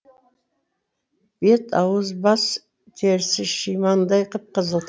бет ауыз бас терісі шимандай қып қызыл